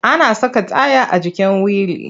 Ana saka taya a jikin wili.